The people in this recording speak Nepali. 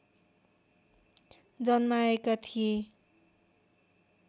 जन्माएका थिए